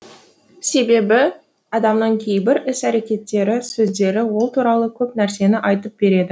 себебі адамның кейбір іс әрекеттері сөздері ол туралы көп нәрсені айтып береді